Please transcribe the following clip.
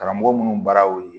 Karamɔgɔ minnu baara y'o ye